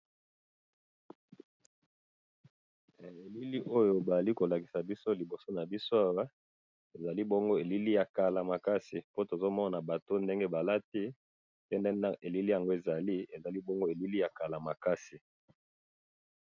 he elili oyo bazali kolakisa biso liboso na biso awa ezali elili ya kala makasi pe tomoni ndenge batu balati pe totali ezali elili ya kala makasi